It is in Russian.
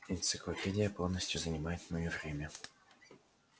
энциклопедия полностью занимает моё время